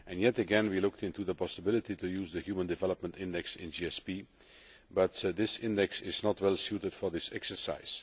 Again, we looked into the possibility of using the Human Development Index in GSP, but this index is not well suited to this exercise.